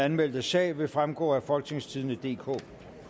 anmeldte sag vil fremgå af folketingstidende DK